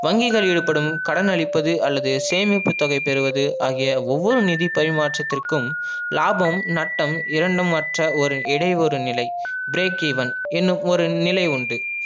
வங்கிகளில் ஈடுபடும் கடன் அளிப்பது அல்லது சேமிப்பு தொகை பெறுவது ஆகிய ஒவ்வொரு நிதி பரிமாற்றத்திற்கும் லாபம் நட்டம் இரண்டும் அற்ற ஒரு இடைவொரு நில break even என்னும் ஒரு நிலை உண்டு